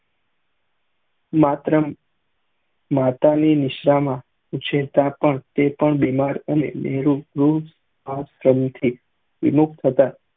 માત્રે ને માતા ની નિશ્વા માં એ પણ બીમાર અને નેહરુ વિમુખ હતા